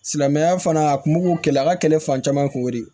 Silamɛya fana a kun m'u kɛlɛ a ka kɛlɛ fan caman kun de